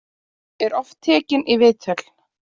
Er oft tekinn í viðtöl.